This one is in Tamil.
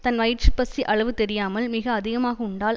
தன் வயிற்று பசி அளவு தெரியாமல் மிக அதிகமாக உண்டால்